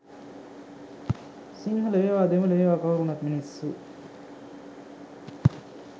සිංහල වේවා දෙමල වේවා කවුරු උනත් මිනිස්සු.